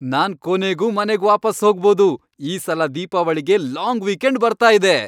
ನಾನ್ ಕೊನೆಗೂ ಮನೆಗ್ ವಾಪಸ್ ಹೋಗ್ಬೋದು. ಈ ಸಲ ದೀಪಾವಳಿಗೆ ಲಾಂಗ್ ವೀಕೆಂಡ್ ಬರ್ತಾ ಇದೆ.